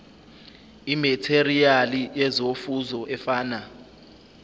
imetheriyali yezofuzo efana